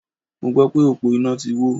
Mo gbọ́ pé òpó iná ti wó.